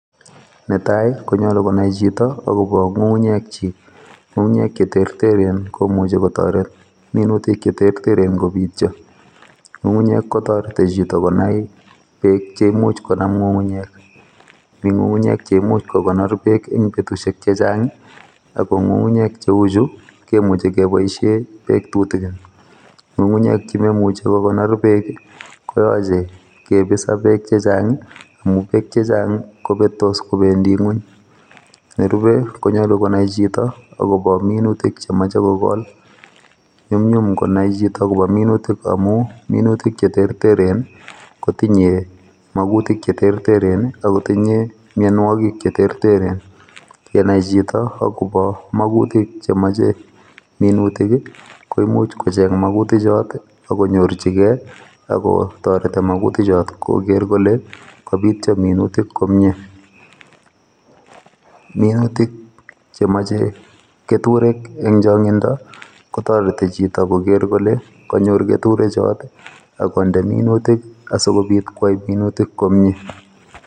Netai konyolu konai chito akobo nyukunyek chi. Kukunyek che terteren komuch kotoret minutik che terteren kobityo kukunyek kotoreti chito konai beek che imuch konam kukunyek mi nyukunyek che imuchi kokonor beek betusiek chechang ako kukunyek cheu chu ko kemuchi keboishe beek tutikin. Kukunyek che memuchi kokonor beek komuchi kebis ak beek che chang amu beek che chang kobetos kobendi ingwony. Nerubei konyolu konai chito akobo minutik che mochei kokol nyumnyum konai chito akobo minutik che mochei amu minutik che terteren kotinye makutik che terteren akotinye mionwogik che terteren yenai chito akobo makutik chemochei minutik koimuch kocheny makutik chot ako toreti makutik chot koker kole kabityo minutik komie. Minutik che mochei keturek eng chongindo kotoreti chito kole kanyor keturek chot ak konde minutik si kobit kwai minutik komie.